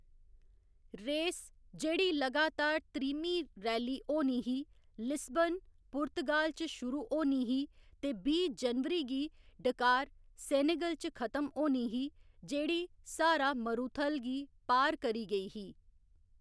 Race, जेह्‌‌ड़ी लगातार त्रीह्‌मीं रैली होनी ही, लिस्बन, पुर्तगाल च शुरू होनी ही ते बीह्‌ जनवरी गी डकार, सेनेगल च खत्म होनी ही, जेह्‌‌ड़ी स्हारा मरूथल गी पार करी गेई ही।